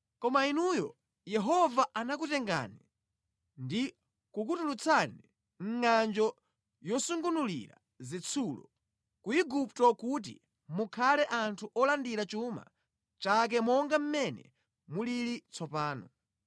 Koma inuyo, Yehova anakutengani ndi kukutulutsani mʼngʼanjo yosungunulira zitsulo, ku Igupto kuti mukhale anthu olandira chuma chake monga mmene mulili tsopano.